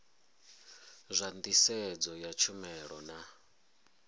zwa nḓisedzo ya tshumelo na